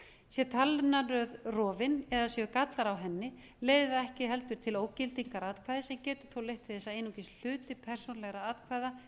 sé talnaröð rofin eða séu gallar á henni leiðir það ekki heldur til ógildingar atkvæðis en getur þó leitt til þess að einungis hluti persónulegra atkvæða